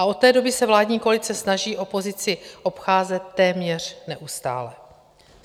A od té doby se vládní koalice snaží opozici obcházet téměř neustále.